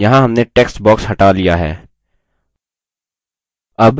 यहाँ हमने text box हटा लिया है